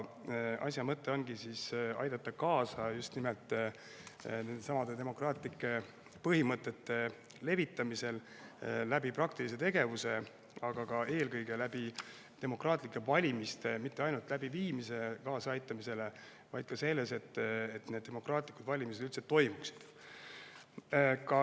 Asja mõte ongi aidata kaasa just nimelt nendesamade demokraatlike põhimõtete levitamisele praktilise tegevusega, aga ka eelkõige demokraatlike valimiste abil, kaasa aidates mitte ainult nende läbiviimisele, vaid ka sellele, et demokraatlikud valimised üldse toimuksid.